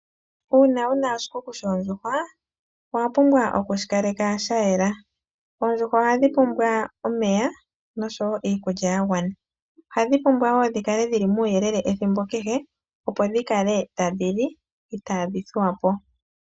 Uuna wuna shikuku shondjukwa owa pumbwa oku shikaleka sha yela oondjuhwa oha dhipumbwa omeya osho wo iikulya ya gwana oha dhipumbwa muyelele ethimbo kehe opo dhi kale tadhi li iitadhi thuwa po.